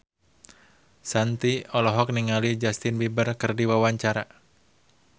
Shanti olohok ningali Justin Beiber keur diwawancara